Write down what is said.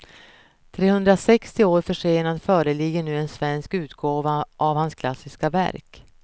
Trehundrasextio år försenad föreligger nu en svensk utgåva av hans klassiska verk.